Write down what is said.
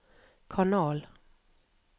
kanal